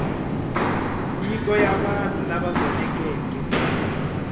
nyiko ya vanhu lava gonekeke